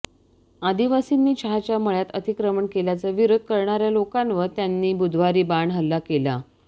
आदिवासींनी चहाच्या मळ्यात अतिक्रमण केल्याचा विरोध करणाऱ्या लोकांवर त्यांनी बुधवारी बाण हल्ला केला